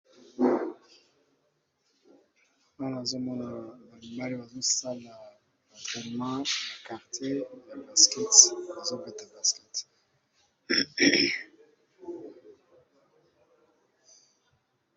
Wana azomonaa balimbale bazosala batrenement ya karte ya basket azobeta basket.